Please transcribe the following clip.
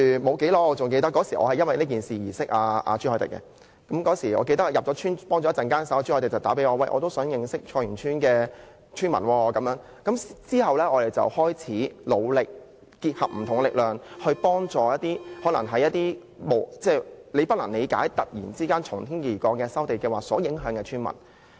我記得正是因為此事而認識朱凱廸議員的，他是在我入村提供協助後不久致電給我，說想認識菜園村的村民，然後大家便開始努力結集不同的力量，幫助那些無法理解為何突然會受從天而降的收地計劃影響的村民。